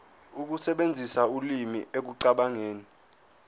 ukusebenzisa ulimi ekucabangeni